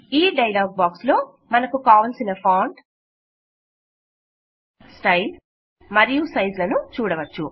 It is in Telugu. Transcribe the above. ఈ డైలాగ్ బాక్స్ లో మనకు కావలసిన ఫాంట్ స్టైల్ మరియు సైజ్ లను చూడవచ్చు